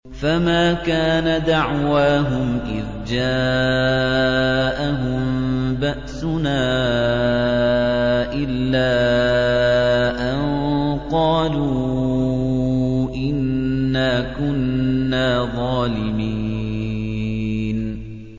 فَمَا كَانَ دَعْوَاهُمْ إِذْ جَاءَهُم بَأْسُنَا إِلَّا أَن قَالُوا إِنَّا كُنَّا ظَالِمِينَ